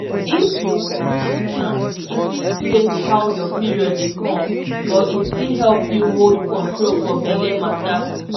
if you put implant e fit change how your period dey come but e still help you hold control for belle matter.